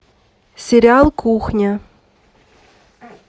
сериал кухня